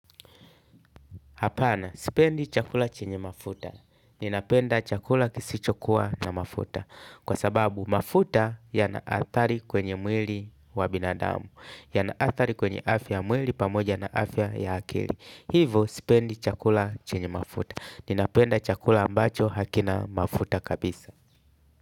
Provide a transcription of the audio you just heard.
Apana, sipendi chakula chenye mafuta, ninapenda chakula kisichokuwa na mafuta, kwa sababu mafuta yanaathari kwenye mwili wa binadamu, ya naathari kwenye afya mwili pamoja na afya ya akili, hivo sipendi chakula chenye mafuta, ninapenda chakula ambacho hakina mafuta kabisa.